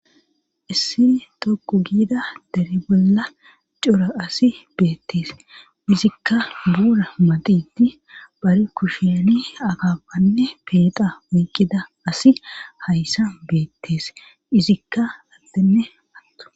issi toqu giida dere bolla cora asi beettees izikka buura maxidi bari kusheni akapanne peeta oyqida asi hayssan beettees izikka addene atuma